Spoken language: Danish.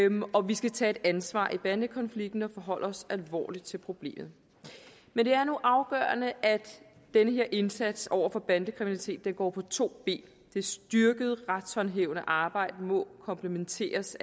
og vi skal tage et ansvar i bandekonflikten og forholde os alvorligt til problemet men det er nu afgørende at den her indsats over for bandekriminalitet går på to ben det styrkede retshåndhævende arbejde må komplementeres